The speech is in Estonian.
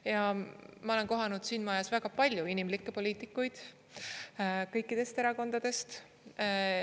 Ja ma olen kohanud siin majas väga palju inimlikke poliitikuid kõikidest erakondadest.